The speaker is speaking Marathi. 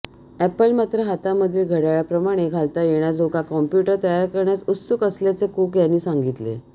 अॅपल मात्र हातामधील घडय़ाळाप्रमाणे घालता येण्याजोगा कॉम्प्युटर तयार करण्यास उत्सुक असल्याचे कुक यांनी सांगितले